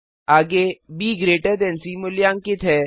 आगे बीसी मूल्यांकित है